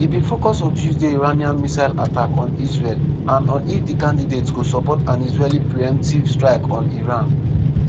e bin focus on tuesday iranian missile attack on israel and on if di candidates go support an israeli pre-emptive strike on iran.